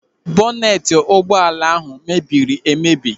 Bọneti ụgbọala ahụ mebiri emebi.